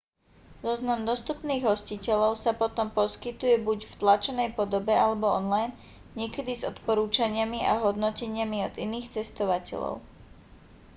zoznam dostupných hostiteľov sa potom poskytuje buď v tlačenej podobe alebo online niekedy s odporúčaniami a hodnoteniami od iných cestovateľov